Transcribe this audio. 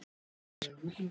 Svo er ekki hér.